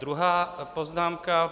Druhá poznámka.